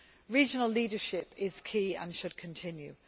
Regional leadership is key and should continue.